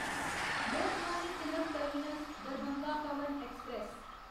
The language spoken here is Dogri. Lokmanya Tilak terminus Darbhanga Pawan express